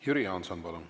Jüri Jaanson, palun!